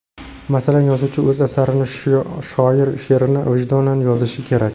Masalan, yozuvchi o‘z asarini, shoir she’rini vijdonan yozishi kerak.